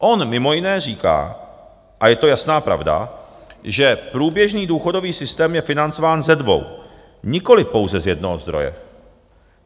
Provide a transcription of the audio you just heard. On mimo jiné říká, a je to jasná pravda, že průběžný důchodový systém je financován ze dvou, nikoliv pouze z jednoho zdroje.